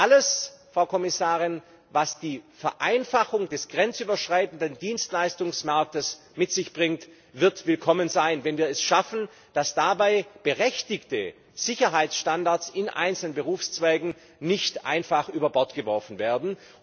Alles, Frau Kommissarin, was die Vereinfachung des grenzüberschreitenden Dienstleistungsmarktes mit sich bringt, wird willkommen sein, wenn wir es schaffen, dass dabei berechtigte Sicherheitsstandards in einzelnen Berufszweigen nicht einfach über Bord geworfen werden.